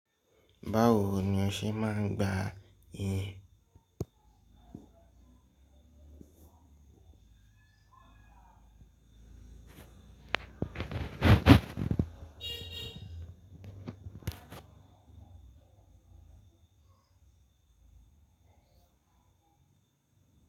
Báwo ni o ṣe máa ń gba iyin?